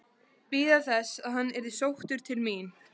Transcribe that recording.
Bíða þess að hann yrði sóttur til mín?